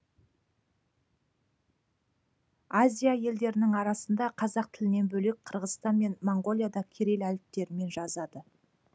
азия елдерінің арасында қазақ тілінен бөлек қырғызстан мен моңғолия да кирилл әріптерімен жазады